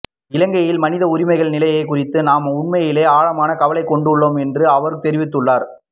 இலங்கையின் மனித உரிமைகள் நிலை குறித்து நாம் உண்மையிலே ஆழமான கவலை கொண்டுள்ளோம் என்று அவர் தெரிவித்துள்ளார்